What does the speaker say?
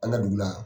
An ka dugu la